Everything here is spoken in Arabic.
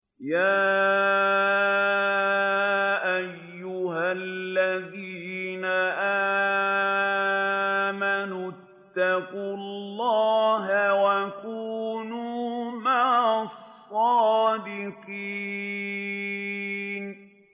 يَا أَيُّهَا الَّذِينَ آمَنُوا اتَّقُوا اللَّهَ وَكُونُوا مَعَ الصَّادِقِينَ